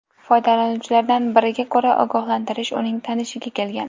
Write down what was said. Foydalanuvchilardan biriga ko‘ra, ogohlantirish uning tanishiga kelgan.